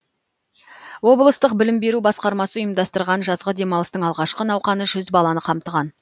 облыстық білім беру басқармасы ұйымдастырған жазғы демалыстың алғашқы науқаны жүз баланы қамтыған